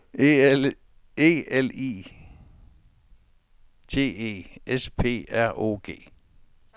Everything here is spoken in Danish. E L I T E S P R O G